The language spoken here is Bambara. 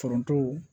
Foronto